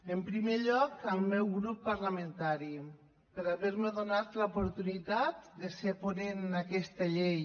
en primer lloc al meu grup parlamentari per haver me donat l’oportunitat de ser ponent en aquesta llei